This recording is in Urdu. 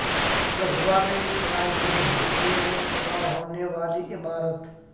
غزہ میں اسرائیلی حملے میں تباہ ہونے والی عمارت